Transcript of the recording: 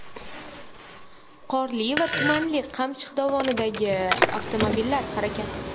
Qorli va tumanli Qamchiq dovonidagi avtomobillar harakati.